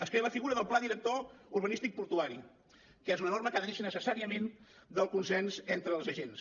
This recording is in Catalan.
es crea la figura del pla director urbanístic portuari que és una norma que ha de néixer necessàriament del consens entre els agents